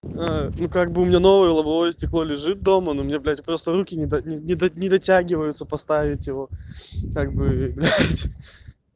ну как бы у меня новое лобовое стекло лежит дома но мне блять просто руки не не не дотягиваются поставить его так бы